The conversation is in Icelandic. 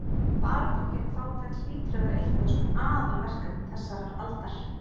Baráttan gegn fátækt hlýtur að vera eitt af aðalverkefnum þessarar aldar.